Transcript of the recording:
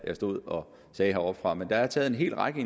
jeg stod og sagde heroppefra men der er taget en hel række